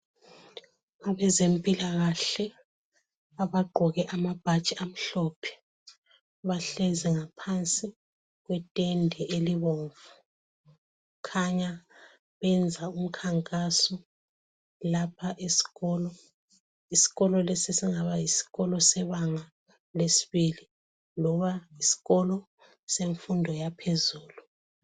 Abezempila kahle abaqgoke amabhatshi amhlophe bahlezi ngaphansi kwetende elibomvu kukhanya benza umkhankaso lapha esikolo isikolo lesi singaba yisikolo sebanga lesibili loba isikolo semfundo yaphezulu